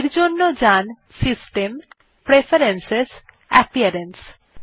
এর জন্য যাওয়া যাক system gtpreferences জিটাপিয়ারেন্স